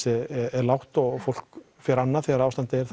er lágt og fólk fer annað þegar ástandið er